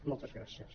moltes gràcies